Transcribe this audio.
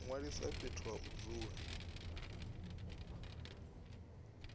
ṅwalisa fhethu ha u dzula